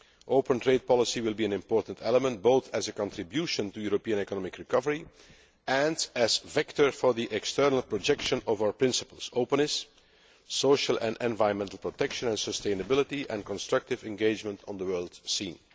Open trade policy will be an important element, both as a contribution to European economic recovery and as a vector for the external projection of our principles openness, social and environmental protection and sustainability, and constructive engagement on the world scene.